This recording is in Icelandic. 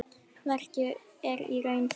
Verkið er í raun þeirra.